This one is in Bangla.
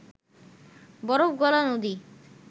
বরফ গলা নদী